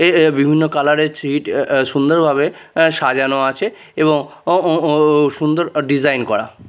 এ এ বিভিন্ন কালার -এর ছিট এ আঃ সুন্দরভাবে আ সাজানো আছে এবং ও ও ও সুন্দর ডিজাইন করা।